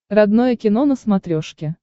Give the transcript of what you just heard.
родное кино на смотрешке